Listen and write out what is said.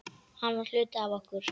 Hann var hluti af okkur.